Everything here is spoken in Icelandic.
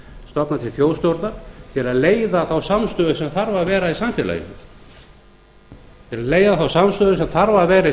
stofna til þjóðstjórnar til að leiða þá samstöðu sem þarf að vera í samfélaginu til að við náum okkur á strik út úr